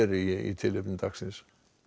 í tilefni dagsins